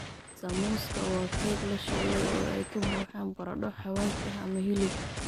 Samuuska waa keeg la shiilay oo ay ka buuxaan baradho xawaash ah ama hilib.